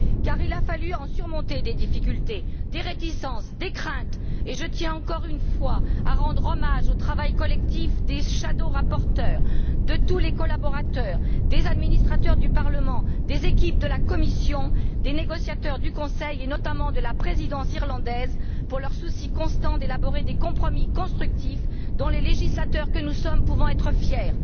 Il a en effet fallut surmonter bien des difficultés, des réticences et des craintes, et je tiens, encore une fois, à rendre hommage au travail collectif des shadow rapporteurs, de tous les collaborateurs, des administrateurs du Parlement, des équipes de la Commission, des négociateurs du Conseil, et notamment de la présidence irlandaise, et à les remercier pour leur souci constant d'élaborer des compromis constructifs, dont les législateurs que nous sommes pouvons être fiers.